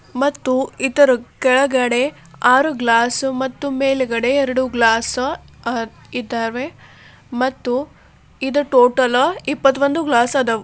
ಮತ್ತು ಇದರ ಕೆಳಗಡೆ ಆರು ಗ್ಲಾಸ್ ಮತ್ತು ಮೇಲ್ಗಡೆ ಎರಡು ಗ್ಲಾಸ್ಇ ದಾವೆ ಇದು ಟೋಟಲ್ ಇಪ್ಪತವಂದ್ ಗ್ಲಾಸ್ ಅದಾವ .